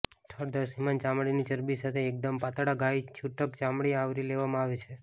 થડ દૃશ્યમાન ચામડીની ચરબી સાથે એકદમ પાતળા ગાય છૂટક ચામડી આવરી લેવામાં આવે છે